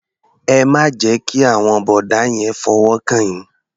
Ẹ má jẹ́ kí àwọn bọ̀dá yẹn fọwọ́ kàn yín.